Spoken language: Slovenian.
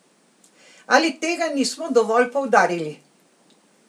Ali tega nismo dovolj poudarili?